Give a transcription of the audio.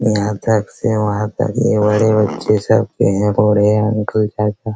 यहाँ तक से वहां तक ही बड़े बच्चे सब